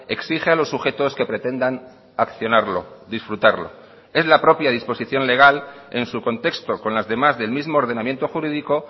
exige a los sujetos que pretendan accionarlo disfrutarlo es la propia disposición legal en su contexto con las demás del mismo ordenamiento jurídico